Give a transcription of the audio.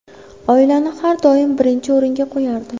Oilani har doim birinchi o‘ringa qo‘yardi.